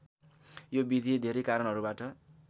यो विधि धेरै कारणहरूबाट